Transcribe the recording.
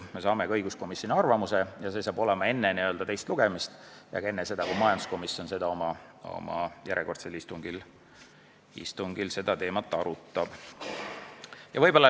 Me saame ka õiguskomisjoni arvamuse enne teist lugemist ja ka enne seda, kui majanduskomisjon oma järjekordsel istungil seda teemat arutab.